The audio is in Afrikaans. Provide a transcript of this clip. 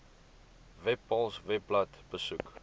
webpals webblad besoek